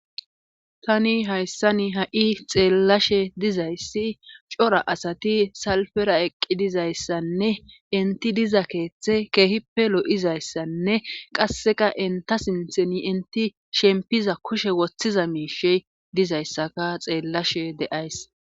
tani hayssani ha7i xeellashe dizayssi cora asati salfera eqqi dizayssanne inti diza keeththe keehippe lo7izayssanne qasseka enta sintheni inti shempiza kushe woththiza miishe dizayssaka xeellashe deays